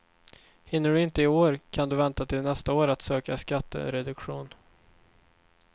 Hinner du inte i år kan du vänta till nästa år att söka skattereduktion.